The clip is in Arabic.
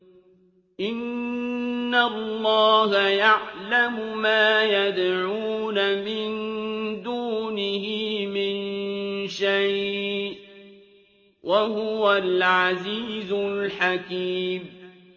إِنَّ اللَّهَ يَعْلَمُ مَا يَدْعُونَ مِن دُونِهِ مِن شَيْءٍ ۚ وَهُوَ الْعَزِيزُ الْحَكِيمُ